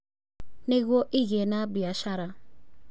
Nĩguo ĩgĩe na biacara.